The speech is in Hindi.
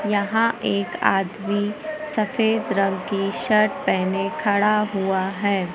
यहां एक आदमी सफेद रंग की शर्ट पेहने खड़ा हुआ हैं।